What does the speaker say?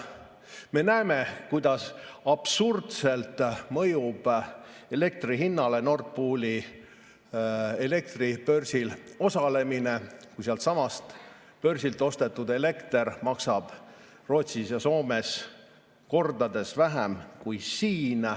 Me näeme, kuidas absurdselt mõjub elektri hinnale Nord Pooli elektribörsil osalemine, kui sealtsamast börsilt ostetud elekter maksab Rootsis ja Soomes kordi vähem kui siin.